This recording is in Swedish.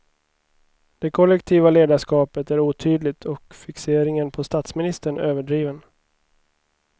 Det kollektiva ledarskapet är otydligt och fixeringen på statsministern överdriven.